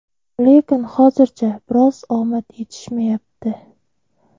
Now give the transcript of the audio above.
Lekin hozircha biroz omad etishmayapti.